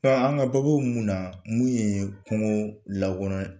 an ka baabu bɛ mun na, mun ye kungo langolonya